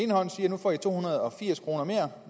får to hundrede og firs kroner mere